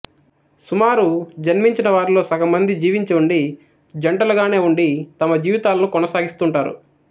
సుమారు జన్మించిన వారిలో సగం మంది జివించి ఉండి జంటలుగానే ఉండి తమ జీవితాలను కొనసాగిస్తుంటారు